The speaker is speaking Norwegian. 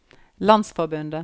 landsforbundet